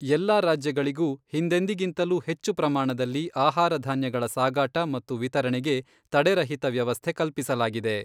ಎಲ್ಲ ರಾಜ್ಯಗಳಿಗೂ ಹಿಂದೆಂದಿಗಿಂತಲೂ ಹೆಚ್ಚು ಪ್ರಮಾಣದಲ್ಲಿ ಆಹಾರಧಾನ್ಯಗಳ ಸಾಗಾಟ ಮತ್ತು ವಿತರಣೆಗೆ ತಡೆರಹಿತ ವ್ಯವಸ್ಥೆ ಕಲ್ಪಿಸಲಾಗಿದೆ.